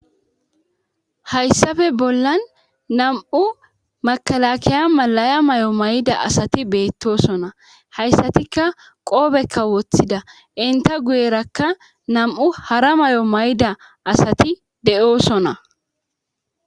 Hayssafe bollan nam7u makalakiya malaya may7o may7da asati beettosona hayssatikka qoobekka woththida inta guyerakka nam7u hara may7o may7da asati de7osona.